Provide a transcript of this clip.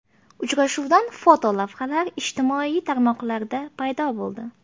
Uchrashuvdan fotolavhalar ijtimoiy tarmoqlarda paydo bo‘ldi.